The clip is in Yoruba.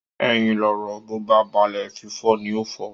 Ẹyin lọ̀rọ̀, bó bá balẹ̀, fífọ́ ní ń fọ́